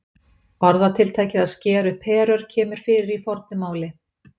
Orðatiltækið að skera upp herör kemur fyrir í fornu máli.